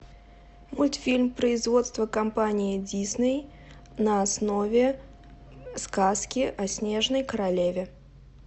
мультфильм производства компании дисней на основе сказки о снежной королеве